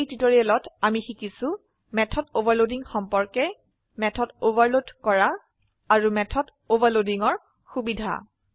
এই টিউটোৰিয়েলত আমি শিকিছো মেথড অভাৰলোডিং সম্পৰ্কে মেথড ওভাৰলোড কৰা আৰু মেথড overloadingৰ সুবিধা